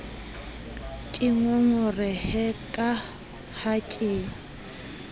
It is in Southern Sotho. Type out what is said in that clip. ke ngongorehe ka ha ke